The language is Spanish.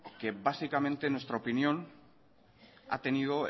que básicamente en nuestra opinión ha tenido